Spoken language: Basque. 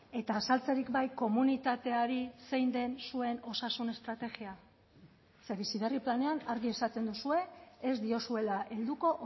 eta azaltzerik bai komunitateari zein den zuen osasun estrategia ze bizi berri planean argi esaten duzue ez diozuela helduko